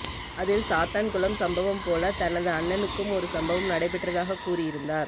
அதில் சாத்தான் குளம் சம்பவம் போல தனது அண்ணனுக்கும் ஒரு சம்பவம் நடைபெற்றதாக கூறி இருந்தார்